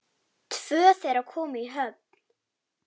Tvö þeirra komu í höfn.